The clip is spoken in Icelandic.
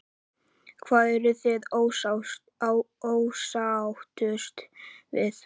Lóa: Hvað eruð þið ósáttust við?